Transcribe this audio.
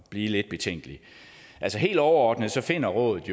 blive lidt betænkelig altså helt overordnet finder rådet